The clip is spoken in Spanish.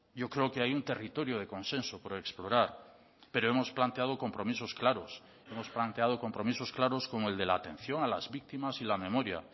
yo creo que hay un territorio de consenso por explorar pero hemos planteado compromisos claros hemos planteado compromisos claros como el de la atención a las víctimas y la memoria